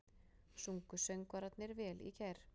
Sungu söngvararnir vel í gær?